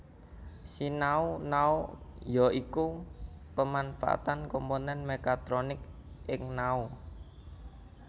Sinau Nao ya iku pemanfaatan komponen mekatronik ing nao